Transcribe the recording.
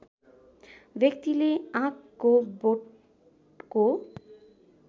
व्यक्तिले आँकको बोटको